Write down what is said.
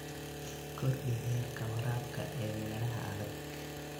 Kordhi heerka waraabka ee meelaha adag.